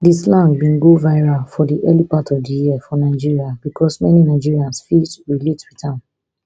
di slang bin go viral for di early part of di year for nigeria bicos many nigerians fit relate wit am